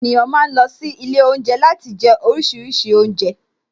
Àwon èniyàn ma ń lọ sílé Ilé oúnjẹ láti jẹ oríṣiríṣi oúnjẹ